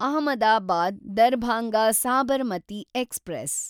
Ahmedabad Darbhanga Sabarmati express